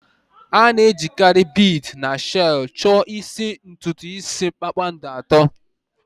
A na-ejikarị bead na shells chọọ isi ntutu isi kpakpando atọ.